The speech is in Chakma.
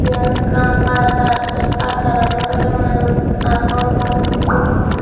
yan ekkan bazar te bazaranot awle manuj agon balukko.